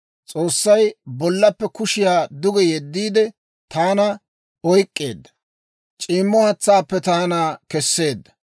S'oossay bollappe kushiyaa duge yeddiide, taana oyk'k'eedda; c'iimmo haatsaappe taana kesseedda.